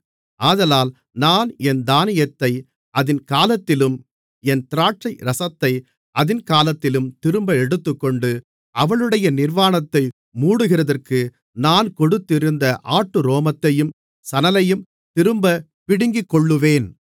ஆதலால் நான் என் தானியத்தை அதின் காலத்திலும் என் திராட்சைரசத்தை அதின் காலத்திலும் திரும்ப எடுத்துக்கொண்டு அவளுடைய நிர்வாணத்தை மூடுகிறதற்கு நான் கொடுத்திருந்த ஆட்டுரோமத்தையும் சணலையும் திரும்பப் பிடுங்கிக்கொள்ளுவேன்